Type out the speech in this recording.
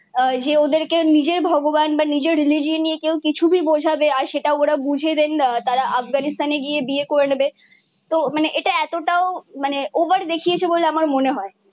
যে ওদের কে নিজের ভগবান বা নিজের রিলিজিওন কেও কিছু ভি বোঝাবে আর সেটা ওরা বুজবে তারা আফগানিস্তানে গিয়ে বিয়ে করে নেবে তো মানে ইটা এত তও ওভার দেখিয়েছে বলে আমার মনে হয়ে